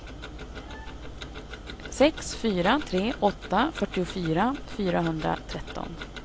sex fyra tre åtta fyrtiofyra fyrahundratretton